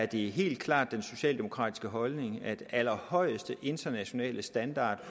det helt klart den socialdemokratiske holdning at den allerhøjeste internationale standard